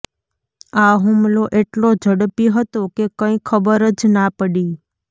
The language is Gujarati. આ હુમલો એટલો ઝડપી હતો કે કંઈ ખબર જ ના પડી